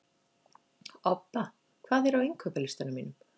Obba, hvað er á innkaupalistanum mínum?